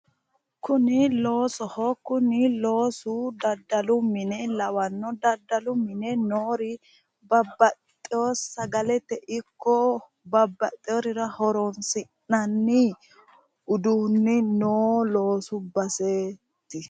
Kuni loosoho. Kuni loosu daddalu mine lawanno. Daddalu mine noori babbaxxiwo sagalete ikko babbaxxiworira horoonsi'nanni uduunni noo loosu baseeti.